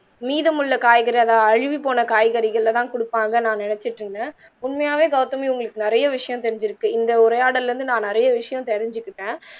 மீதமுள்ள காய்கறி அதாவது அழிவு போன காய்கறிகலதான் குடுப்பாங்கன்னு நான் நினைச்சிக்கிட்டிருந்தேன் உண்மையாகவே கௌதமி உங்களுக்கு நிறைய விஷயம் தெரிஞ்சிருக்கு இந்த உரையாடல இருந்து நான் நிறைய விஷயம் தெரிஞ்சிக்கிட்டு இருக்கேன்